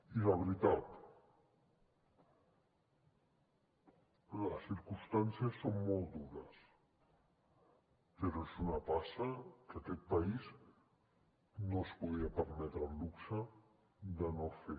i la veritat les circumstàncies són molt dures però és una passa que aquest país no es podia permetre el luxe de no fer